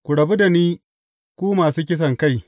Ku rabu da ni, ku masu kisankai!